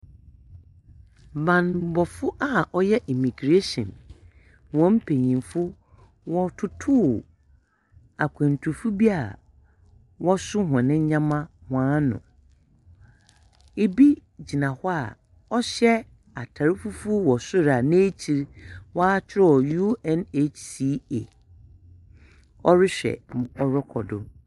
Bambɔfo a ɔyɛ immigration wɔn mpanyimfo wɔrototo akwantufo bi a wɔso hɔn ndzɛmba hɔn ano. Bi gyina hɔ a ɔhyɛ atar fufuw wɔ so n’ekyir no wɔakyerɛw UNHCA ɔrohwɛ dza ɔrokɔ do.